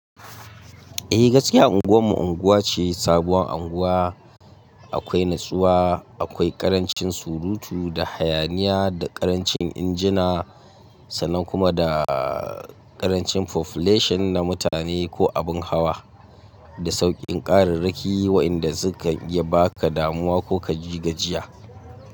Eh gaskiya unguwar mu unguwa ce sabuwar anguwa. Akwai natsuwa, akwai ƙarancin surutu da hayaniya da ƙarancin injina sannan kuma da ƙarancin population na mutane ko abin hawa da sauƙin ƙararraki waƴanda sukan iya baka damuwa ko ka ji gajiya.